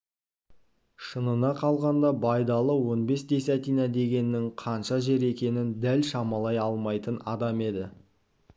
шынына қалғанда байдалы он бес десятина дегеннің қанша жер екенін дәл шамалай алмайтын адам еді